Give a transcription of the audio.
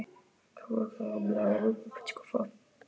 Tinna synti og kom svo til hans.